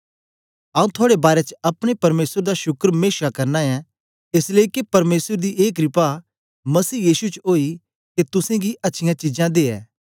आऊँ थुआड़े बारै च अपने परमेसर दा शुक्र मेशा करना ऐं एस लेई के परमेसर दी ए क्रपा मसीह यीशु च ओई के तुसेंगी अच्छियाँ चीजां दे